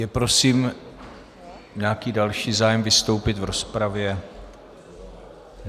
Je prosím nějaký další zájem vystoupit v rozpravě?